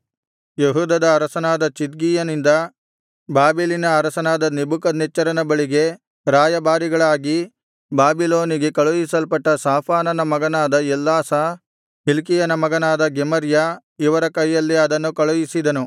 ಯೆಹೂದದ ಅರಸನಾದ ಚಿದ್ಕೀಯನಿಂದ ಬಾಬೆಲಿನ ಅರಸನಾದ ನೆಬೂಕದ್ನೆಚ್ಚರನ ಬಳಿಗೆ ರಾಯಭಾರಿಗಳಾಗಿ ಬಾಬಿಲೋನಿಗೆ ಕಳುಹಿಸಲ್ಪಟ್ಟ ಶಾಫಾನನ ಮಗನಾದ ಎಲ್ಲಾಸ ಹಿಲ್ಕೀಯನ ಮಗನಾದ ಗೆಮರ್ಯ ಇವರ ಕೈಯಲ್ಲಿ ಅದನ್ನು ಕಳುಹಿಸಿದನು